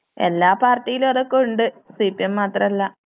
എല്ലാ പാർട്ടിയിലും അതൊക്കെയുണ്ട് സി പി എം മാത്രമല്ല.